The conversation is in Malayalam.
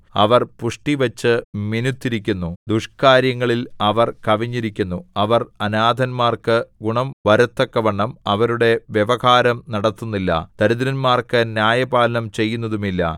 അവർ പുഷ്ടിവച്ചു മിനുത്തിരിക്കുന്നു ദുഷ്കാര്യങ്ങളിൽ അവർ കവിഞ്ഞിരിക്കുന്നു അവർ അനാഥന്മാർക്കു ഗുണം വരത്തക്കവണ്ണം അവരുടെ വ്യവഹാരം നടത്തുന്നില്ല ദരിദ്രന്മാർക്ക് ന്യായപാലനം ചെയ്യുന്നതുമില്ല